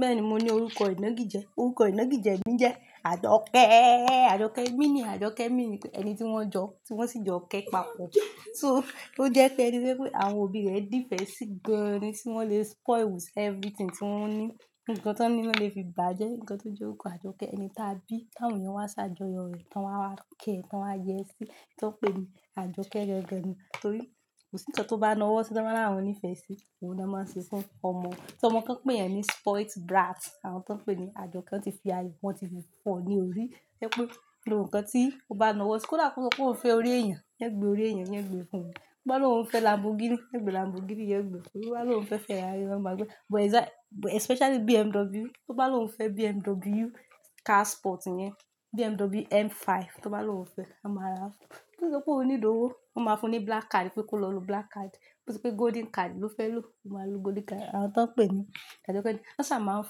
Bẹ́ẹ̀ni, mo ní orúkọ ìnági jẹ. Orúkọ ìnági jẹ mi jẹ Àjọkẹ́. Àjọkẹ́ meaning Àjọkẹ́ mean pe ẹni tí wọ́n jọ, tí wọ́n sì jọ kẹ́ papọ̀. So ó jẹ́ pé ẹni pé pé àwọn òbí rẹ̀ dífẹ̀ sí gan-an ni tí wọ́n lè spoil with everything tí wọ́n ní. Ǹkan tí wọ́n ní wọ́n lè fi bàjẹ́, ǹkan tó jẹ́ orúkọ Àjọkẹ́ ni tàbí ká òhún yẹn wá sí àjọyọ̀ rẹ̀, tán wá wá kẹ́, tán wá yẹ sí, tí wọ́n ń pè ní Àjọkẹ́ rẹ ọ̀gẹ́ ni. Torí kò sí ǹkan tó bá na wọ́ tí wọ́n máa rànwọ́ ní ìfẹ́ sí. Òun ni wọ́n máa ń ṣe fún ọmọ. Tí ọmọ kan pè yẹn ní spoilt brat, àwọn tí wọ́n ń pè ní Àjọkẹ́ ń ti fi ayé wọn ti di pọ̀ ni ó rí. Jẹ́ pé lo ǹkan tí o bá na wọ́ síi kó dàkọ́ pé o fẹ́ orí èèyàn, yẹn gbe orí èèyàn, yẹn gbe fún ẹ. Ó bá lo ǹ fẹ́ lambogini, yẹn gbe lambogini, yẹn gbe. Ó bá lo ǹ fẹ́ Ferrari, wọ́n máa gbé. But exact-- but especially BMW, ó bá lo ǹ fẹ́ BMW car sport yẹn, BMW M5, tó bá lo ǹ fẹ́, a máa rà fún ẹ. Tí o dá pé o ní lówó, wọ́n máa fún ní black card pé kó lọ lo black card. Bo ti pé golden card lo fẹ́ lo, o máa lo golden card. Àwọn tí wọ́n ń pè ní Àjọkẹ́ ni. Lọ sá máa ń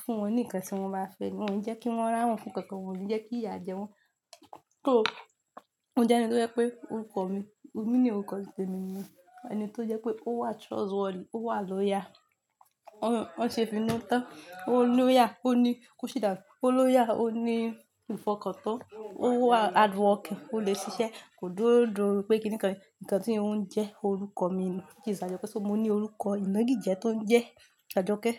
fún wọn ní ǹkan tí wọ́n bá fẹ́ ni. Wọn ò ní jẹ́ kí wọ́n rànwọ́ fún kankan, wọ́n ò ní jẹ́ kí ìyà jẹ wọ́n. So ó jẹ́ ẹni tó jẹ́ pé orúkọ mi, mi ni orúkọ tí pé mi ni ẹni tó jẹ́ pé ó wà trustworthy, ó wà lóya. Ó ń ṣe finútán, ó ní lóya, ó ní ko sí danu, ó lóya, ó ní ìfọkàntán, ó wà hardworking, ó lè ṣiṣẹ́, kò dúró dúró pé kíni kan rí. Ǹkan tí ń jẹ́ orúkọ mi ni. Ó ti ṣàjọpẹ́ tó mo ní orúkọ ìnági jẹ tó ń jẹ́ Àjọkẹ́.